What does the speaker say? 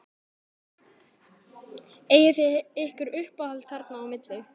Eigið þið ykkur uppáhald þarna á milli?